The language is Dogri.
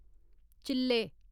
चि'ल्ले